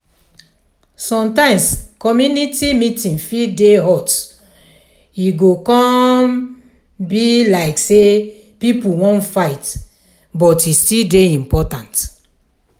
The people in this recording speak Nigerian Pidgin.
sometimes community meeting fit dey hot e go come um be like sey pipo wan fight but e still dey important.